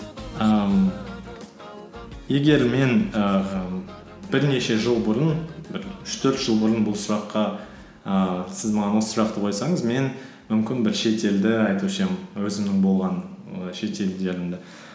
ііі егер мен ііі бірнеше жыл бұрын бір үш төрт жыл бұрын бұл сұраққа ііі сіз маған осы сұрақты қойсыңыз мен мүмкін бір шетелді айтушы едім өзімнің болған і шетелдерімді